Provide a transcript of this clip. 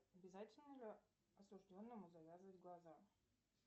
обязательно ли осужденному завязывать глаза